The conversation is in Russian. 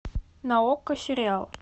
на окко сериал